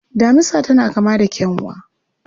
Damisa tana kama da kyanwa.